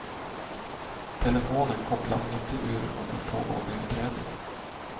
Telefonen kopplas inte ur under pågående utredning.